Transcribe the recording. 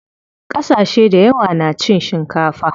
Ƙasashe dayawa na cin shikafa.